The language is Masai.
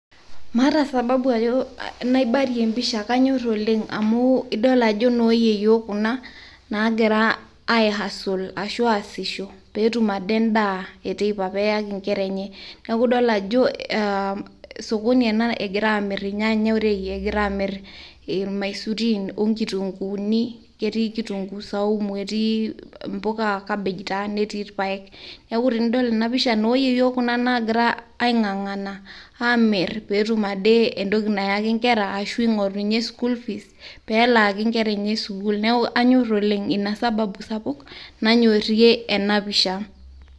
maata sababu ajo naibarie empisha , kanyor oleng' amu idol ajo nooyieyieo kuna nagira ae hustle ashu aasisho petum ade endaa eteipa ,peyaki inkera enye . niaku idol ajo sokoni ena egira irnyanya orei , egira amir irmaisurin onkitunguni , ketii kitunguu saumu, netii imuka ,cabbage taa , netii irpaek. niaku tenidol ena pisha , nooyieyio kuna nagira ai ng'ang'ana petum ade entoki nayaki inkera ashu ingoru inye school fees peelaki inkera enye sukuul . niaku anyor oleng' , ina sababu sapuk nanyorie ena pisha.